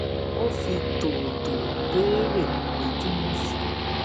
ó fi tòwòtòwò béèrè pé kí wón fún